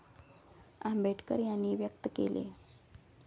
आंबेडकर यांनी व्यक्त केले.